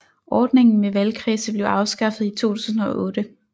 Ordningen med valgkredse blev afskaffet i 2008